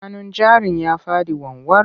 Hannun jarin ya faɗi wanwar.